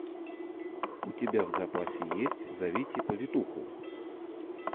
у тебя в запасе есть зовите повитуху